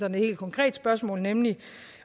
et helt konkret spørgsmål nemlig